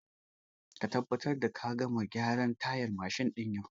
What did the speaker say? Ka tabbatar da ka gama gyaran tayar mashin din yau!